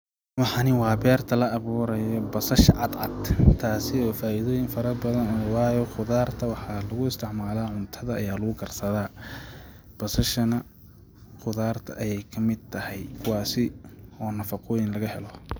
Waxani waa beerta la abuurayo, basasha cadcad taasi oo faaidooyin farobadan leh waayo qudarta waxa lagu isticmala cuntada ayaa lagu karsadaa basashana qudarta ayee kamid tahay waa si oo nafaqooyin laga helo.